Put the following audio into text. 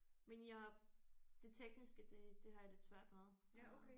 Men jeg det tekniske det det har jeg lidt svært med øh